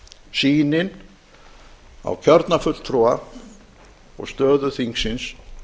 sýnin á kjörna fulltrúa og stöðu þingsins